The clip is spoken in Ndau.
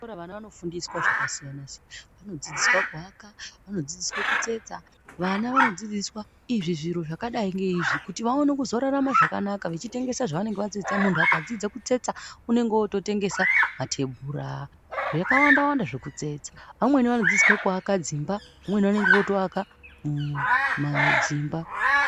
Kuzvikora vana vanofundiswa zvakasiyana siyana. Vanodzidziswa kuaka. Vanodzidziswa kutsetsa. Vana vanodzidziswa izvi zviro zvakadai ngeizvi kuti vaone kuzorarama zvakanaka. Vachitengesa zvavanenge vatsetsa. Muntu akadzidza kutsetsa unenge ototengesa matebhura zvakawanda wanda zvekutsetsa. Vamweni vanodzidziswa kuaka dzimba. Vamweni vanenge votoaka umm madzimba.